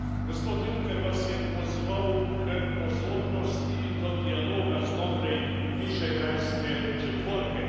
Gospod Juncker vas je pozval k pozornosti do dialoga znotraj Višegrajske četvorke.